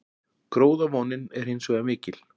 Gróðavonin er hins vegar mikil